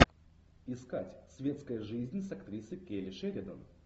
искать светская жизнь с актрисой келли шеридан